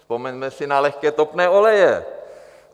Vzpomeňme si na lehké topné oleje.